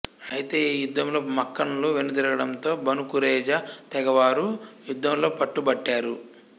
అయితే ఈ యుద్ధంలో మక్కన్లు వెనుతిరగడంతో బను కురేజా తెగవారు యుద్ధంలో పట్టుబట్టారు